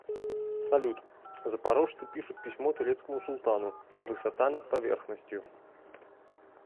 салют запорожцы пишут письмо турецкому султану высота над поверхностью